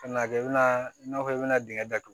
Ka na kɛ i bɛna i n'a fɔ i bɛna dingɛ datugu